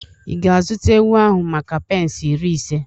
Ị ga-azụta ewu ahụ maka pence iri ise?